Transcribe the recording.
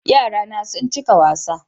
Yarana sun cika wasa